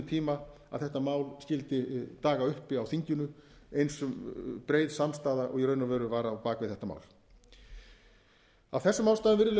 tíma að þetta mál skyldi daga uppi á þinginu eins breið samstaða og í raun og veru var á bak við þetta mál af þessum ástæðum virðulegi